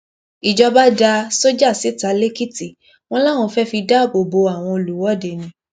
ìjọba da sójà síta lẹkìtì wọn láwọn fẹẹ fi dáàbò bo àwọn olùwọde ni